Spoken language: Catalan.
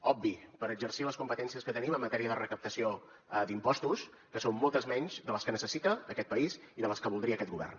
obvi per exercir les competències que tenim en matèria de recaptació d’impostos que són moltes menys de les que necessita aquest país i de les que voldria aquest govern